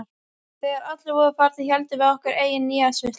Þegar allir voru farnir héldum við okkar eigin nýársveislu.